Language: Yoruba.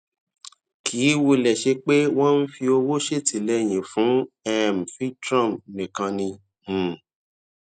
kì í wulè ṣe pé wón ń fi owó ṣètìléyìn fún um voltron nìkan ni um